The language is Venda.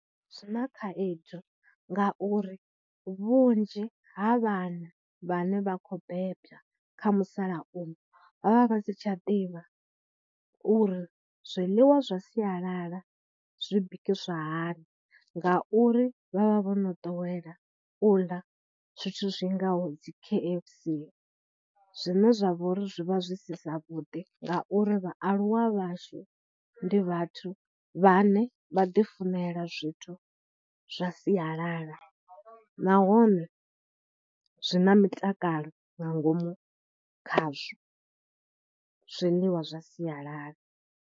Zwi na khaedu ngauri vhunzhi ha vhana vhane vha khou beba kha musalauno vha vha vha si tsha ḓivha uri zwiḽiwa zwa sialala zwi bikisiwa hani ngauri vha vha vho no ḓowela u ḽa zwithu zwi ngaho dzi K_F_C zwine zwa vha uri zwi vha zwi si zwavhuḓi ngauri vhaaluwa vhashu ndi vhathu vhane vha ḓifunela zwithu zwa siyalala nahone zwi na mutakalo nga ngomu khazwo zwiḽiwa zwa sialala.